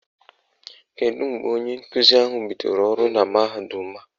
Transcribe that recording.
Kedu mgbe onye nkuzi ahụ bidoro ọrụ na mahadum a?